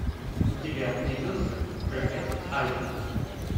у тебя найдется проект альфа